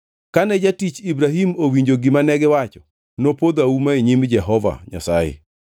Kane jatich Ibrahim owinjo gima negiwacho, nopodho auma e nyim Jehova Nyasaye.